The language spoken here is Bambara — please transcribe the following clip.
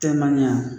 Tɛ ma ɲa